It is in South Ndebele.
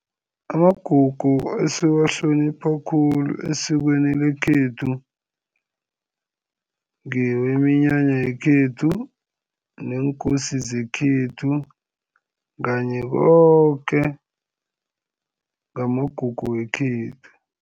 Amagugu esiwahlonipha khulu esikweni lekhethu ngeweminyanya yekhethu, neenkosi zekhethu kanye koke ngamagugu wekhethu.